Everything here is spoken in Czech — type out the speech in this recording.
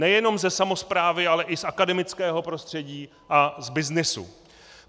Nejenom ze samosprávy, ale i z akademického prostředí a z byznysu.